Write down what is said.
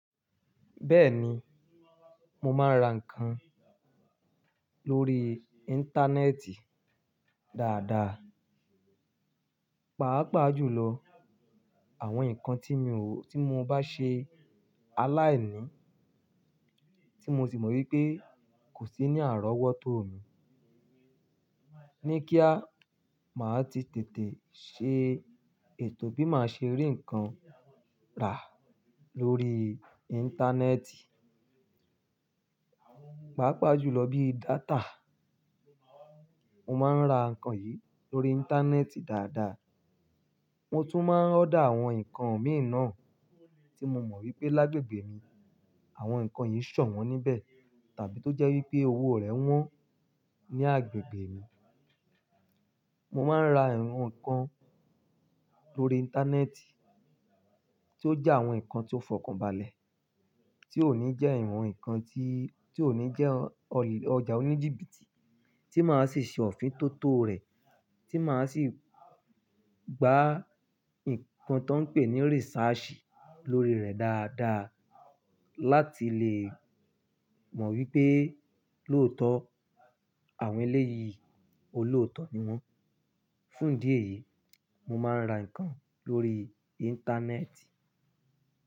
Bẹ́ẹ̀ni, mo máa ń ra ǹkan lórí Íńtánẹ́ẹ̀tì dáadáa. Pàápàá jùlọ àwọn ǹkan tí mo bá ṣe aláìní, tí mo sì mọ̀ wípé kò sí ní àrówótó mi. Ní kí á máa ti tètè ṣe ètò bí màá ṣe rí ǹkan rà lórí Íńtánẹ́ẹ̀tì. Pàápàá jùlọ bí data. Mo máa ń ra ǹkan yìí lórí Íńtánẹ́ẹ̀tì dáadáa. Mo tún máa ń order àwọn ǹkan mìí na tí mo mọ̀ wípé lágbègbè mi, àwọn ǹkan yìí ṣọ̀wọ́n níbẹ̀ tàbí tó jẹ́ wípé owó rẹ̀ wọ́n ní agbègbè mi. Mo máa ń ra irú ǹkan lórí Íńtánẹ́ẹ̀tì tí ó jẹ́ àwọn ǹkan tí ó fọkànbalẹ̀, tí ò ní jẹ́ ìwọ̀n ǹkan tí, tí ò ní jẹ́ ọjà oní jìbìtì, tí màá sì ṣe òfin tó tó rẹ̀, tí màá sì gba ǹkan tó ń pè ní research lórí rẹ̀ dáadáa láti lè mọ̀ wípé lóòótọ́ àwọn eléyìí olóòótọ́ ni wọ́n. Fún idí ẹ̀yìí, mo máa ń ra ǹkan lórí Íńtánẹ́ẹ̀tì.